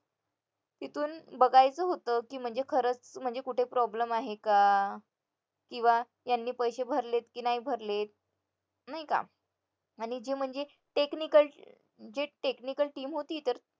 तिथून बघायचं होतं की म्हणजे खरंच म्हणजे कुठे problem आहे का किंवा यांनी पैसे भरलेत की नाही भरलेत नाही का आणि जे म्हणजे technical जे technical team होती